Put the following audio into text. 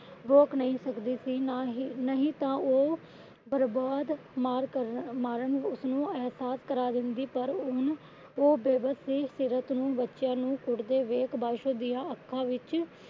ਰੋਕ ਨਹੀਂ ਸਕਦੀ ਸੀ। ਨਾ ਹੀ ਨਹੀਂ ਤਾਂ ਉਹ ਬਰਬਾਦ ਮਾਰ ਉਸਨੂੰ ਇਹਸਾਸ ਕਰਾ ਦਿੰਦੀ। ਉਹ ਬੇਬਸ ਸੀ ਸੀਰਤ ਨੂੰ ਬੱਚਿਆਂ ਨੂੰ ਕੁੱਟਦੇ ਦੇਖ ਕੇ ਪਾਸ਼ੋ ਦੀਆਂ ਅੱਖਾਂ ਵਿੱਚ